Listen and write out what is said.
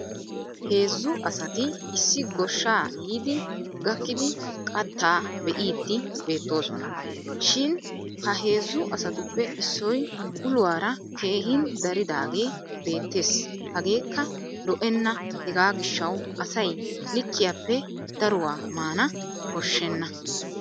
Heezzu asati issi goshshaa yiidi gakkida qattaa be'iiddi beettoosona. Shin ha heezzu asatuppe issoy uluwaara keehin dariidaagee beettes hageekka lo'enna hegaa gishshawu asay likkiyaape daruwa maana koshshenna.